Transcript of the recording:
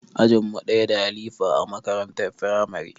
Ajin mu ɗaya da halifa a makarantar firamare